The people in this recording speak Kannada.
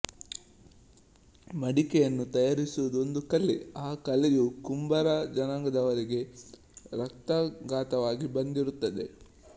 ಮಡಿಕೆಯನ್ನು ತಯರಿಸುವುದು ಒಂದು ಕಲೆ ಆ ಕಲೆಯು ಕುಂಬಾರ ಜನಾಂಗದವರಿಗೆ ರಕ್ತಗತವಾಗಿ ಬಂದಿರುತ್ತದೆ